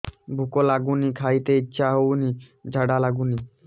ଭୁକ ଲାଗୁନି ଖାଇତେ ଇଛା ହଉନି ଝାଡ଼ା ଲାଗୁନି